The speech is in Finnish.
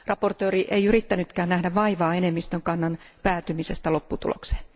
Esittelijä ei yrittänytkään nähdä vaivaa enemmistön kannan päätymisestä lopputulokseen.